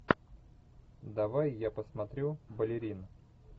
давай я посмотрю балерина